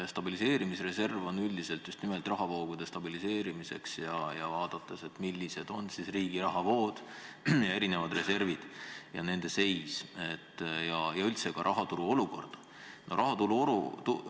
Stabiliseerimisreserv on üldiselt mõeldud just nimelt rahavoogude stabiliseerimiseks, vaadates, millised on riigi rahavood, erinevad reservid ja nende seis ning rahaturu üldine olukord.